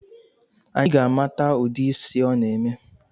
Anyi ga-amata udi ịsị ọ na-eme